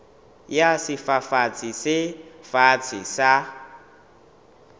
ya sefafatsi se fatshe sa